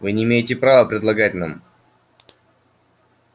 вы не имеете права предлагать нам